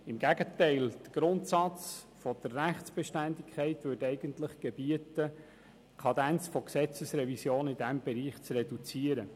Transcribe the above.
Im Gegenteil, der Grundsatz der Rechtsbeständigkeit würde eigentlich gebieten, die Kadenz von Gesetzesrevisionen in diesem Bereich zu reduzieren.